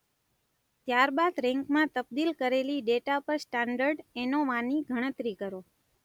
ત્યાર બાદ રેન્કમાં તબદીલ કરેલી ડેટા પર સ્ટાન્ડર્ડ એનોવાની ગણતરી કરો.